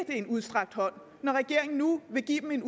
en udstrakt hånd når regeringen nu vil give dem en